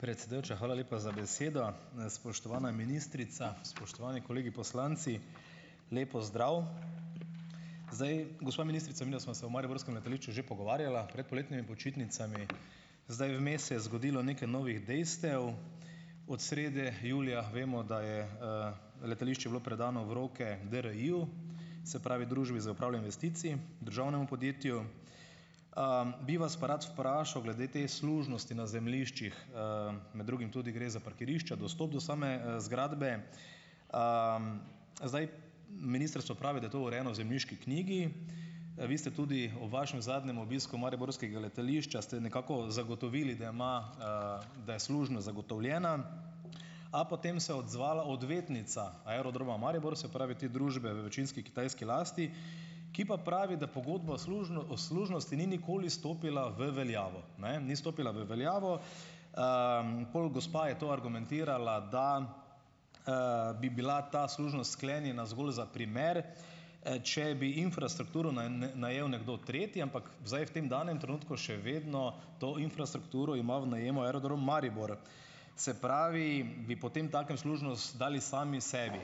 Predsedujoča, hvala lepa za besedo. Spoštovana ministrica, spoštovani kolegi poslanci, lep pozdrav. Zdaj, gospa ministrica midva sva se o mariborskem letališču že pogovarjala pred poletnimi počitnicami. Zdaj, vmes je zgodilo nekaj novih dejstev. Od srede julija vemo, da je, letališče bilo predano v roke DRI-ju, se pravi Družbi za upravljanje investicij, državnemu podjetju. Bi vas pa rad vprašal glede te služnosti na zemljiščih, med drugim tudi gre za parkirišča, dostop do same, zgradbe. Zdaj, ministrstvo pravi, da je to urejeno v zemljiški knjigi. Vi ste tudi ob vašem zadnjem obisku mariborskega letališča ste nekako zagotovili, da ima, da je služnost zagotovljena, a potem se je odzvala odvetnica Aerodroma Maribor, se pravi te družbe v večinski kitajski lasti, ki pa pravi, da pogodba o služnosti ni nikoli stopila v veljavo. Ne, ni stopila v veljavo. Pol gospa je to argumentirala, da, bi bila ta služnost sklenjena zgolj za primer, če bi infrastrukturo najel nekdo tretji, ampak zdaj v tem danem trenutku še vedno to infrastrukturo ima v najemu Aerodrom Maribor. Se pravi, bi potemtakem služnost dali sami sebi.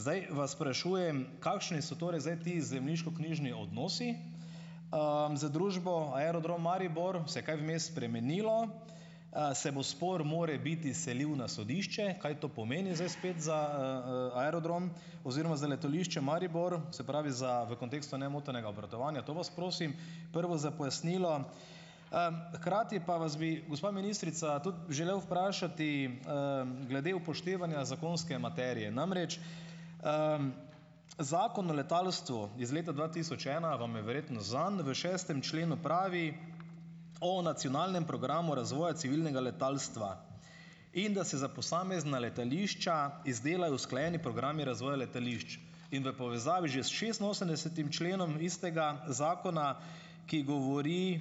Zdaj vas sprašujem, kakšni so torej zdaj ti zemljiškoknjižni odnosi, z družbo Aerodrom Maribor? Se je kaj vmes spremenilo? Se bo spor morebiti selil na sodišče? Kaj to pomeni zdaj spet za, aerodrom oziroma za letališče Maribor, se pravi, za v kontekstu nemotenega obratovanja? To vas prosim prvo za pojasnilo. Hkrati pa vas bi gospa ministrica tudi želel vprašati, glede upoštevanja zakonske materije. Namreč, Zakon o letalstvu iz leta dva tisoč ena vam je verjetno znan. V šestem členu pravi o nacionalnem programu razvoja civilnega letalstva. In da se za posamezna letališča izdelajo usklajeni programi razvoja letališč in v povezavi že s šestinosemdesetim členom istega zakona, ki govori,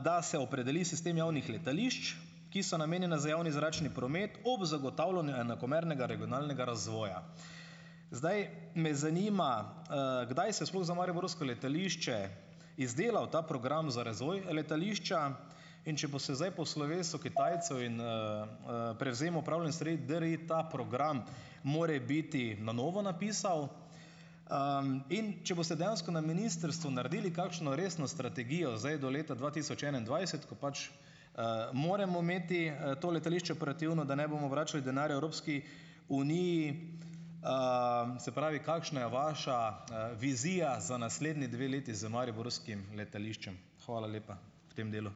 da se opredeli sistem javnih letališč, ki so namenjena za javni zračni promet ob zagotavljanju enakomernega regionalnega razvoja. Zdaj me zanima, kdaj se je sploh za mariborsko letališče izdelal ta program za razvoj letališča. In če bo se zdaj po slovesu Kitajcev in, prevzemu upravljanja stvari DRI ta program morebiti na novo napisal? In če boste dejansko na ministrstvu naredili kakšno resno strategijo zdaj do leta dva tisoč enaindvajset, pač, moramo imeti, to letališče operativno, da ne bomo vračali denarja Evropski uniji - se pravi, kakšna je vaša, vizija za naslednji dve leti z mariborskim letališčem? Hvala lepa v tem delu.